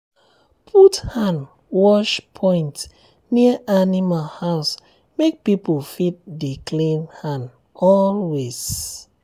put hand wash point near animal house make people fit dey clean hand always.